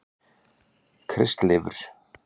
Kristleifur